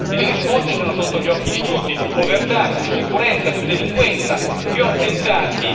Le risposte sono sotto gli occhi di tutti più povertà, più insicurezza, più delinquenza, più attentati.